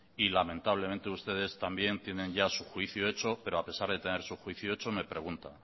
y lamentablemente ustedes también ya tienen su juicio hecho pero a pesar de tener su juicio hecho me pregunta